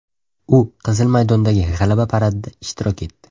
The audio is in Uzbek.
U Qizil maydondagi G‘alaba paradida ishtirok etdi.